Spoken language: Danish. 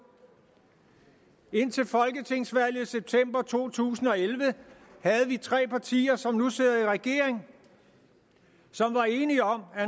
indtil folketingsvalget i september to tusind og elleve havde vi tre partier som nu sidder i regering som var enige om at